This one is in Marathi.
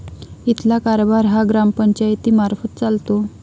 इथला कारभार हा ग्रामपंचायतीमार्फत चालतो.